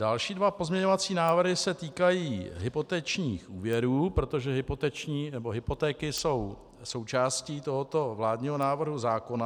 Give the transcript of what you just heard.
Další dva pozměňovací návrhy se týkají hypotečních úvěrů, protože hypotéky jsou součástí tohoto vládního návrhu zákona.